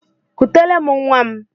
Kutere m nwam!